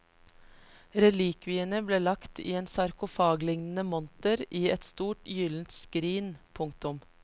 Relikviene ble lagt i en sarkofaglignende monter i et stort gyldent skrin. punktum